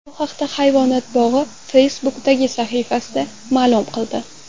Bu haqda Hayvonot bog‘i Facebook’dagi sahifasida ma’lum qildi .